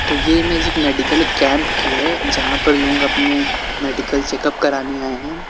तो ये इमेज एक मेडिकल कैंप की है जहां पर लोग अपने मेडिकल चेकअप कराने आए हैं।